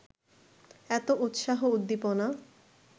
এত উৎসাহ উদ্দীপনা